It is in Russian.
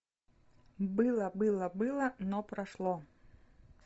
было было было но прошло